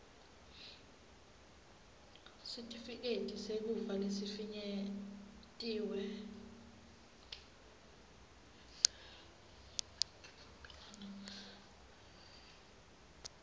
sitifiketi sekufa lesifinyetiwe